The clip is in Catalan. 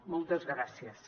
moltes gràcies